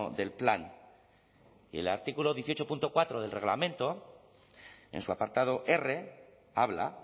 del plan y el artículo dieciocho punto cuatro del reglamento en su apartado r habla